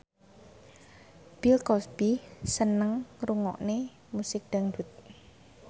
Bill Cosby seneng ngrungokne musik dangdut